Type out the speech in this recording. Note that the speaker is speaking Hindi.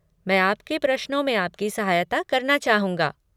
मैं आपके प्रश्नों में आपकी सहायता करना चाहूँगा।